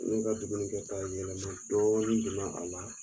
Ne ka dumuni kɛta yɛlɛma dɔɔnin donna a la